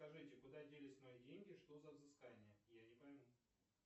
скажите куда делись мои деньги что за взыскания я не пойму